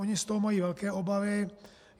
Oni z toho mají velké obavy.